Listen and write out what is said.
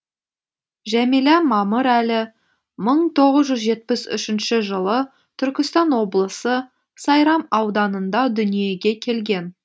жәмила мамырәлі мың тоғыз жүз жетпіс үшінші жылы түркістан облысы сайрам ауданында дүниеге келген